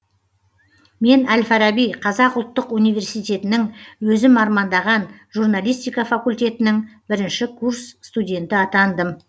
мен әл фараби қазақ ұлттық университетінің өзім армандаған журналистика факультетінің бірінші курс студенті атандым